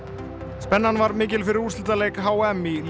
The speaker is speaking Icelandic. spennan var mikil fyrir úrslitaleik h m í